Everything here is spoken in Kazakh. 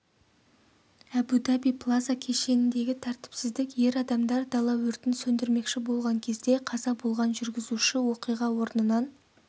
әбу-даби плаза кешеніндегі тәртіпсіздік ер адамдар дала өртін сөндірмекші болған кезде қаза болған жүргізуші оқиға орнынан